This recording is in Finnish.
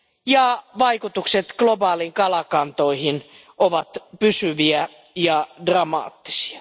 ja vaikutukset globaaleihin kalakantoihin ovat pysyviä ja dramaattisia.